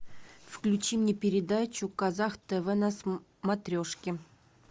включи мне передачу казах тв на смотрешке